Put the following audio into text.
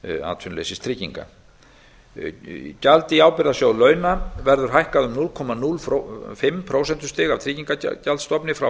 atvinnuleysistrygginga gjald í ábyrgðasjóð launa verður hækkað um núll komma núll fimm prósentustig af tryggingagjaldsstofni frá